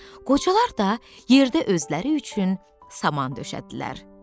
Qocalar da yerdə özləri üçün saman döşədilər.